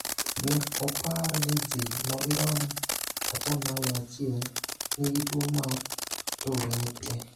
Ne opar ni ji madirom 1% nigi tuwo mar Tourette.